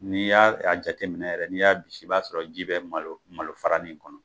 N'i y'a a jateminɛ yɛrɛ n'i y'a bisi, i b'a sɔrɔ ji bi malo malo fara nin kɔnɔ.